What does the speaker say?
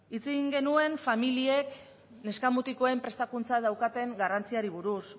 hitz egin genuen familiek neska mutikoen prestakuntzan daukaten garrantziari buruz